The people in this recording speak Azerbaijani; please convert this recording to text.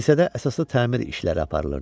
Kilsədə əsaslı təmir işləri aparılırdı.